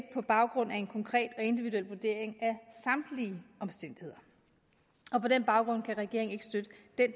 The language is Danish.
på baggrund af en konkret og individuel vurdering af samtlige omstændigheder og på den baggrund kan regeringen